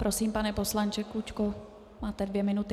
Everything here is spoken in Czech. Prosím, pane poslanče Klučko, máte dvě minuty.